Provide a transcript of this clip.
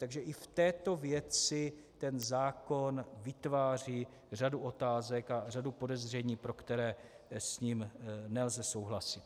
Takže i v této věci ten zákon vytváří řadu otázek a řadu podezření, pro které s ním nelze souhlasit.